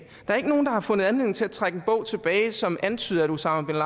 er ikke nogen der har fundet anledning til at trække en bog tilbage som antyder at osama bin